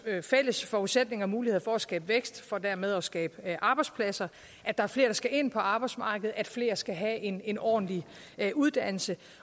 fælles forudsætninger og muligheder for at skabe vækst for dermed at skabe arbejdspladser at der er flere der skal ind på arbejdsmarkedet og at flere skal have en en ordentlig uddannelse